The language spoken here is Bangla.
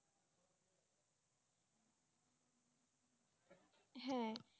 হ্যাঁ